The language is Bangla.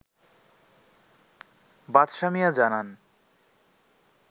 বাদশাহ মিয়া জানান